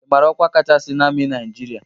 Ị mara ọkwa kachasị n'amị Naịjịrịa?